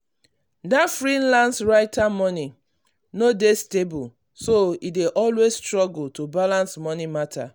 that freelance writer money no um dey stable so e dey always struggle um to balance money matter.